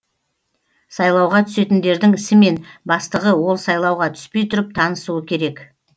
сайлауға түсетіндердің ісімен бастығы ол сайлауға түспей тұрып танысуы керек